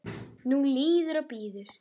Nú líður og bíður.